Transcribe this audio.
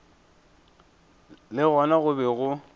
le gona go be go